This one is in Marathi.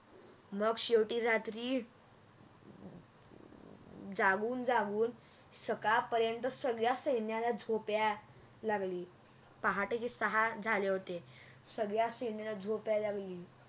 मग शेवटी रात्री जागून जागून सकाळ पर्यंत सगळ्या सैन्याला झोप यायला लागली पहाटेचे सहा झाले होते सगळया सैन्याला झोप यायला लागली